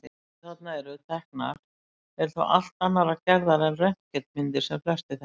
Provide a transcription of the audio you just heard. Myndirnar sem þarna eru teknar eru þó allt annarrar gerðar en röntgenmyndir sem flestir þekkja.